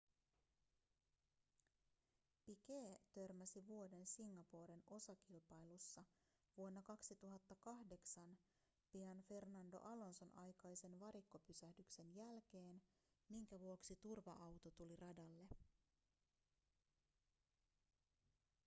piquet törmäsi vuoden singaporen osakilpailussa vuonna 2008 pian fernando alonson aikaisen varikkopysähdyksen jälkeen minkä vuoksi turva-auto tuli radalle